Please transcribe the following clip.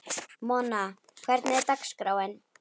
Mona, hvernig er dagskráin?